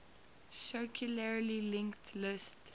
circularly linked list